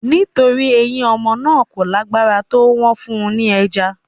Nítorí pé eyín ọmọ náà kò lágbára tó, wọ́n fún un ní ẹja